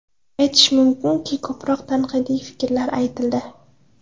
Aytish mumkinki, ko‘proq tanqidiy fikrlar aytildi.